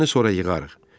Meyvəni sonra yığarıq.